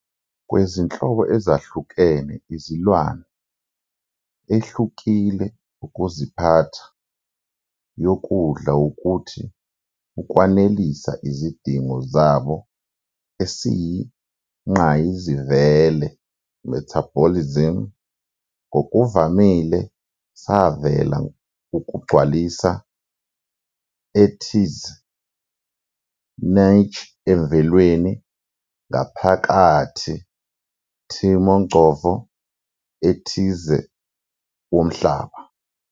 Kwezinhlobo ezahlukene izilwane ehlukile ukuziphatha yokudla ukuthi ukwanelisa izidingo zabo esiyingqayizivele metabolisms, ngokuvamile savela ukugcwalisa ethize niche emvelweni ngaphakathi timongcondvo ethize womhlaba.